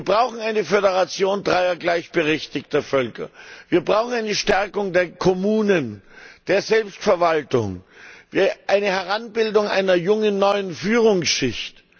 Wir brauchen eine Föderation dreier gleichberechtigter Völker. Wir brauchen eine Stärkung der Kommunen, der Selbstverwaltung, eine Heranbildung einer jungen neuen Führungsschicht.